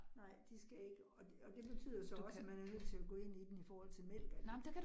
Nej, de skal ikke, og det og det betyder så også, at man er nødt til at gå ind i den i forhold til mælk og alt